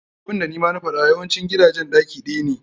Abunda nima na faɗa yawancin gidajen ɗaki ɗaya ne.